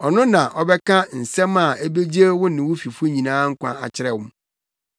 Ɔno na ɔbɛka nsɛm a ebegye wo ne wo fifo nyinaa nkwa akyerɛ mo.’